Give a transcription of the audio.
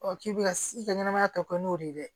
k'i bɛ ka i ka ɲɛnamaya tɔ kɛ n'o de ye dɛ